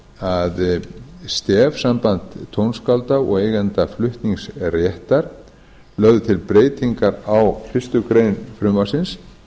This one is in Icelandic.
nefna að stef samband tónskálda og eigenda flutningsréttar lögðu til breytingar á fyrstu grein frumvarpsins